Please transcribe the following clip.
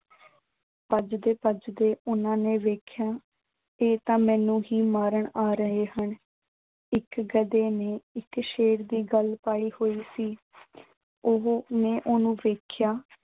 ਭੱਜਦੇ-ਭੱਜਦੇ ਉਨ੍ਹਾਂ ਨੇ ਵੇਖਿਆ, ਇਹ ਤਾਂ ਮੈਨੂੰ ਹੀ ਮਾਰਨ ਆ ਰਹੇ ਹਨ। ਇੱਕ ਗਧੇ ਨੇ ਇੱਕ ਸ਼ੇਰ ਦੀ ਖੱਲ ਪਾਈ ਹੋਈ ਸੀ। ਉਹੋ ਨੇ ਉਹਨੂੰ ਵੇਖਿਆ